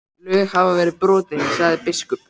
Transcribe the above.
Lög hafa verið brotin, sagði biskup.